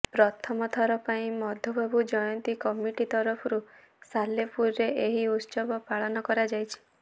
ପ୍ରଥମ ଥର ପାଇଁ ମଧୁବାବୁ ଜୟନ୍ତୀ କମିଟି ତରଫରୁ ସାଲେପୁରରେ ଏହି ଉତ୍ସବ ପାଳନ କରାଯାଇଛି